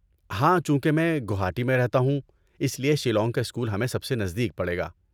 ہاں، چونکہ میں گوہاٹی میں رہتا ہوں اس لیے شیلانگ کا اسکول ہمیں سب سے نزدیک پڑے گا۔